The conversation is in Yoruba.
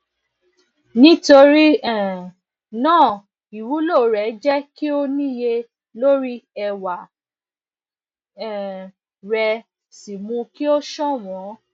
nítorí um náà ìwúlò rẹ jẹ kí ó níye lórí ẹwà um rẹ sì mú kí ó ṣọwọn